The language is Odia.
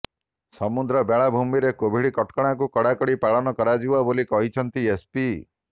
ସମୁଦ୍ର ବେଳାଭୂମିରେ କୋଭିଡ୍ କଟକଣାକୁ କଡାକଡି ପାଳନ କରାଯିବ ବୋଲି କହିଛନ୍ତି ଏସପି